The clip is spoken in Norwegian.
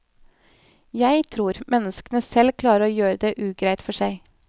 Jeg tror menneskene selv klarer å gjøre det ugreit for seg.